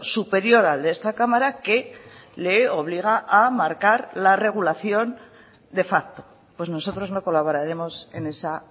superior al de esta cámara que le obliga a marcar la regulación de facto pues nosotros no colaboraremos en esa